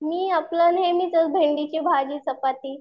मी आपलं नेहमीचच भेंडीची भाजी चपाती.